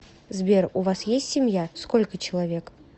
сбер у вас есть семья сколько человек